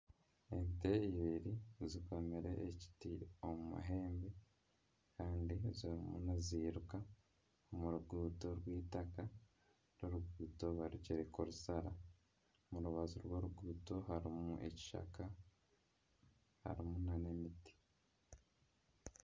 Ente eibiri zikomire ekiti omu mahembe kandi zirimu niziruka omu ruguuto rw'eitaaka, oru oruguuto barugire kurushara omu rubaju rw'oruguuto harimu ekishaka harimu na n'emiti.